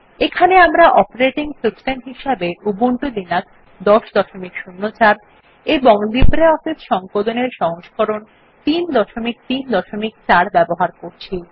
এখানে আমরা operating system হিসেবে উবুন্টু লিনাক্স ১০০৪ এবং লিব্রিঅফিস সংকলন এর সংস্করণ ৩৩৪ ব্যবহার করছি